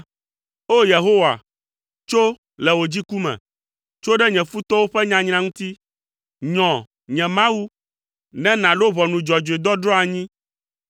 O! Yehowa, tso, le wò dziku me; tso ɖe nye futɔwo ƒe nyanyra ŋuti. Nyɔ, nye Mawu, ne nàɖo ʋɔnu dzɔdzɔe dɔdrɔ̃ anyi.